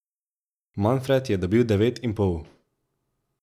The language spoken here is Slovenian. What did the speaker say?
Manfred je dobil devet in pol.